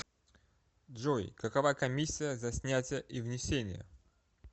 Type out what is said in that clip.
джой какова комиссия за снятия и внесения